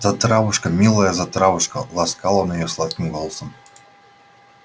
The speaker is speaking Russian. затравушка милая затравушка ласкал он её сладким голосом